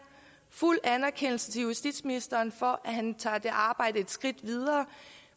fuld anerkendelse til justitsministeren for at han tager det arbejde et skridt videre